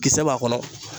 Kisɛ b'a kɔnɔ